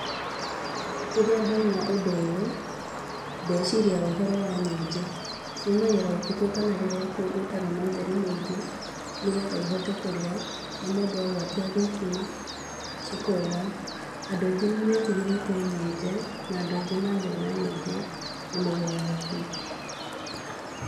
Rĩrĩa ndona ũndũ ũyũ ndeciria ũhoro wa nyenje, ciumagĩra ũtukũ kana rĩrĩa gũtarĩ na ũtheri mũingĩ, nĩgetha ihote kũrĩa na mũndũ agwatia thitima cikora, andũ aingĩ nĩ metigĩrĩte nyenje na andũ aingĩ mangĩona njenye nĩ maugaga mbu.